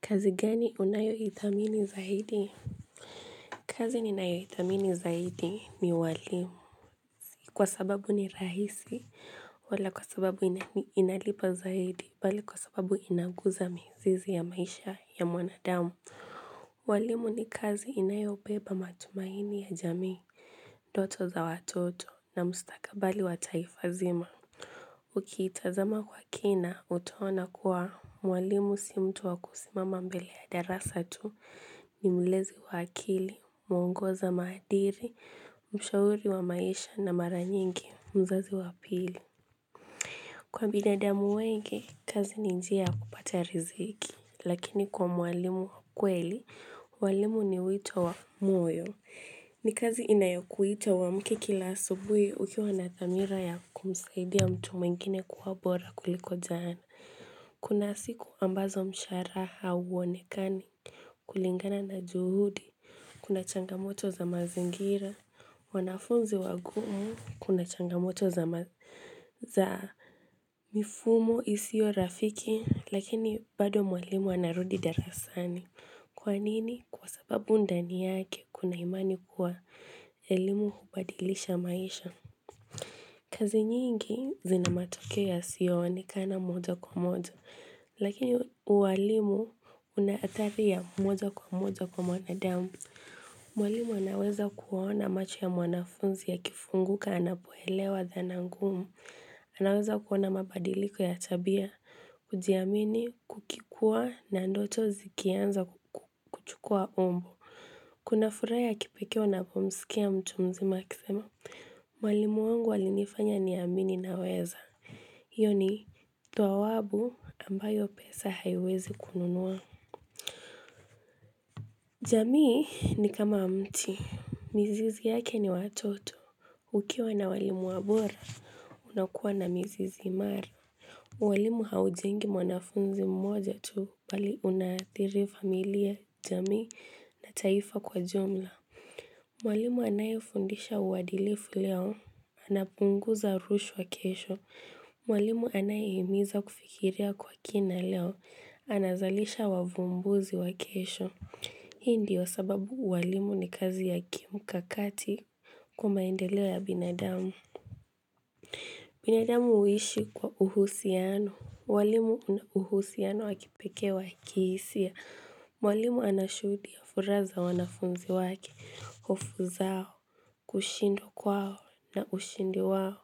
Kazi gani unayo ithamini zaidi? Kazi ninayo ithamini zaidi ni walimu. Kwa sababu ni rahisi, wala kwa sababu inalipa zaidi, bali kwa sababu inagusa mizizi ya maisha ya mwanadamu. Walimu ni kazi inayo beba matumaini ya jamii, ndoto za watoto na mustakabali wa taifazima. Ukiitazama kwa kina, utuona kuwa, Mwalimu si mtu wakusimama mbele ya darasatu, nimlezi wa akili, muongoza madili, mshauri wa maisha na mara nyingi, mzazi wapili. Kwa binadamu wengi, kazi ni njia ya kupata riziki, lakini kwa mwalimu kweli, mwalimu ni wito wa moyo. Ni kazi inayokuita uwamke kila subuhi ukiwa na thamira ya kumsaidia mtu mwingine kuwa bora kuliko jana. Kuna siku ambazo msharaha hauonekani kulingana na juhudi Kuna changamoto za mazingira wanafunzi wagumu kuna changamoto za mifumo isio rafiki Lakini bado mwalimu anarudi darasani Kwanini kwa sababu ndani yake kuna imani kuwa elimu hubadilisha maisha kazi nyingi zina matokeo yasio onekana moja kwa moja Lakini uwalimu unaathari ya moja kwa moja kwa mwanadamu. Mwalimu anaweza kuona macho ya mwanafunzi ya kifunguka anapoelewa dhanangumu. Anaweza kuwa na mabadiliko ya tabia, kujiamini, kukikua na ndoto zikianza kuchukua umbo. Kuna furaha ya kipekee unapomsikia mtu mzima akisema. Mwalimu wangu walinifanya ni amini naweza. Iyo ni thwawabu ambayo pesa haiwezi kununua. Jamii ni kama mti. Mizizi yake ni watoto. Ukiwa na walimu bora, unakua na mizizi imara. Walimu haujengi mwanafunzi mmoja tu bali unathiri familia, jami na taifa kwa ujumla. Mwalimu anayefundisha uwadilifu leo. Anapunguza rushwa kesho. Mwalimu anayeimiza kufikiria kwa kina leo Anazalisha wavumbuzi wa kesho Hii ndiyo sababu walimu ni kazi ya kim kakati kwamaendeleo ya binadamu binadamu uishi kwa uhusiano walimu wana uhusiano wakipekee wa kihisia Mwalimu anashudia furaa za wanafunzi wake hofu zao kushindwa kwao na ushindi wao